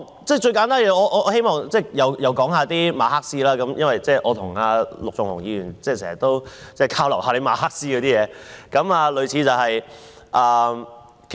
最簡單的一點，我希望再次提及馬克思，我與陸頌雄議員經常交流馬克思的東西。